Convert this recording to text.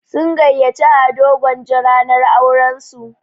Sun gayyaci Ado Gwanja ranar auran su.